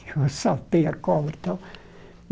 Eu saltei a cobra e tal.